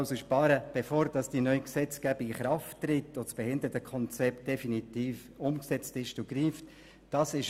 Man will sparen, bevor die neue Gesetzgebung in Kraft tritt, also bevor das Behindertenkonzept definitiv umgesetzt worden ist und greift.